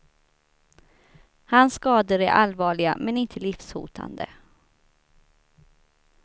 Hans skador är allvarliga men inte livshotande.